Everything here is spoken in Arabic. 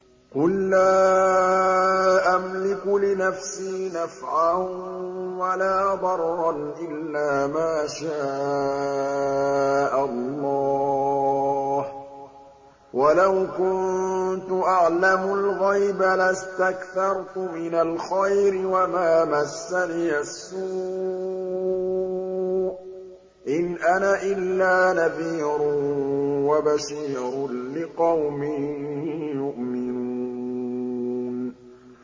قُل لَّا أَمْلِكُ لِنَفْسِي نَفْعًا وَلَا ضَرًّا إِلَّا مَا شَاءَ اللَّهُ ۚ وَلَوْ كُنتُ أَعْلَمُ الْغَيْبَ لَاسْتَكْثَرْتُ مِنَ الْخَيْرِ وَمَا مَسَّنِيَ السُّوءُ ۚ إِنْ أَنَا إِلَّا نَذِيرٌ وَبَشِيرٌ لِّقَوْمٍ يُؤْمِنُونَ